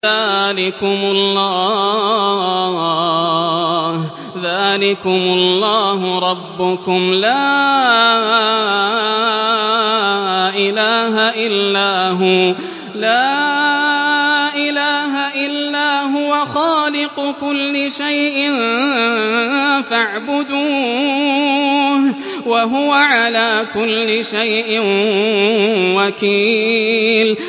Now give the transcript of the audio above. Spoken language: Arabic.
ذَٰلِكُمُ اللَّهُ رَبُّكُمْ ۖ لَا إِلَٰهَ إِلَّا هُوَ ۖ خَالِقُ كُلِّ شَيْءٍ فَاعْبُدُوهُ ۚ وَهُوَ عَلَىٰ كُلِّ شَيْءٍ وَكِيلٌ